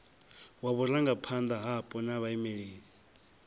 wa vhurangaphanda hapo na vhaimeleli